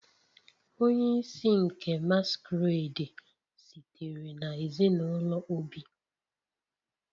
Onye isi nke masquerade sitere na ezinụlọ Obi